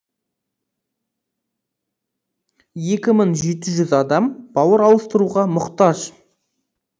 екі мың жеті жүз адам бауыр ауыстыруға мұқтаж